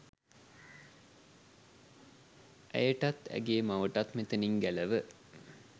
ඇයටත් ඇගේ මවටත් මෙතැනින් ගැලව